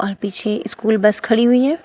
और पीछे school bus खड़ी हुई है।